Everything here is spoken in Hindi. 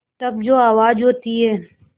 तब जो आवाज़ होती है